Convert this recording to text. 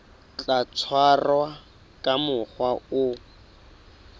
tla tshwarwa ka mokgwa o